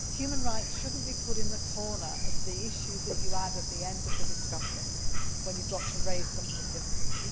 Human rights should not be put in the corner as the issue that you add at the end of the discussion when you have got to raise something difficult.